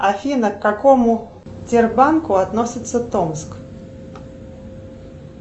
афина к какому тербанку относится томск